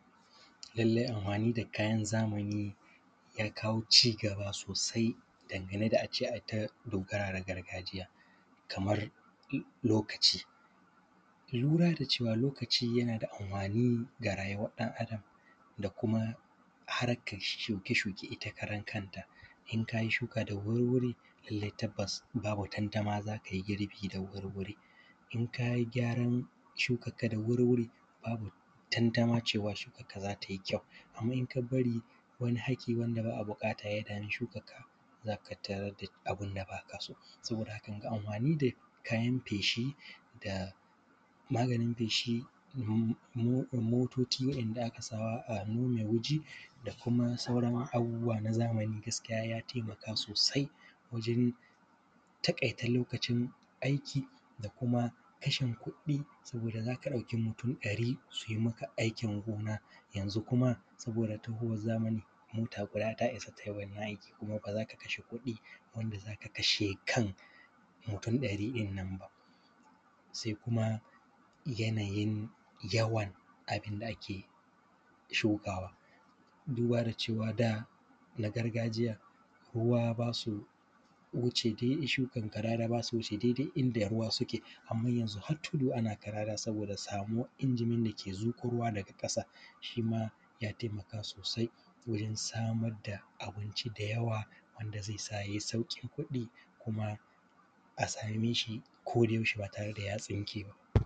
Lallai anhwani da kayan zamani, ya kawo cigaba sosai dangane da a ce ai ta dogara da gargajiya, kamar m; lokaci. Lura da cewa lokaci yana da anhwani ga rayuwan ɗan adam da kuma harkar shuke-shuke ita karankanta, in ka yi shuka da wurwuri, llai tabbas babu tantama za kai girbi da wurwuri. In ka yi gyaran shukakka da wurwuri, babu tantama cewa shukakka za ta yi kyau, amma in ka bari wani haki wanda ba a buƙata ya dami shukakka, za ka tarad da abin da ba ka so. Saboda haka, wanga anhwani da kayan feshi da maganin feshi, mo; mo; mototi waɗanda aka sawa a wuri mai wuji da kuma sauran abubuwa na zamani, gaskiya ya temaka sosai wajen taƙaita lokacin aiki da kuma kashin kuɗɗi, saboda za ka ɗauki mutun ɗari su maka aikin gona, yanzu kuma saboda tahowaz zamani, mota guda ta isa tai wannan aiki kuma ba za ka kashe kuɗi wanda za ka kashe kan mutun ɗari ɗin nan ba. Se kuma, yanayin yawan abin da ake shukawa, duba da cewa da na gargajiya, ruwa ba su wuce dai shukan kadada, ba su wuce dede inda ruwa suke, amma yanzu hat tudu ana kadada saboda da samuwa injimin da ke zuƙo ruwa daga ƙasa, shi ma ya temaka sosai wajen samad da abinci da yawa wanda ze sa yai sauƙin kuɗi kuma a same shi kodayaushe ba tare da ya tsinke ba.